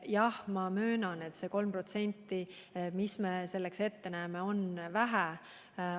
Jah, ma möönan, et 3%, mis meie selleks ette näeme, on vähe.